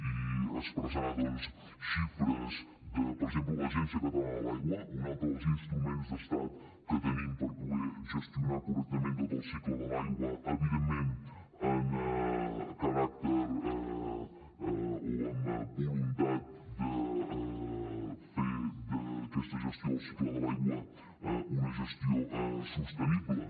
i expressar doncs xifres de per exemple l’agència catalana de l’aigua un altre dels instruments d’estat que tenim per poder gestionar correctament tot el cicle de l’aigua evidentment amb caràcter o amb voluntat de fer d’aquesta gestió del cicle de l’aigua una gestió sostenible